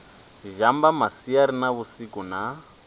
zhamba masiari na vhusiku na